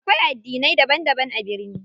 Akwai addinai daban daban a birni.